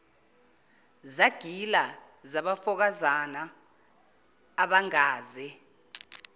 zagila zabafokazana abangaze